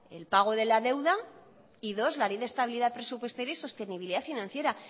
el pago de la deuda y dos la ley de estabilidad presupuestaria y sostenibilidad financiera